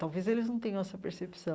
Talvez eles não tenham essa percepção.